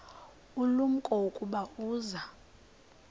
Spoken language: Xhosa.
ulumko ukuba uza